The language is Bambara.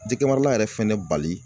Jɛgɛ marala yɛrɛ fɛnɛ bali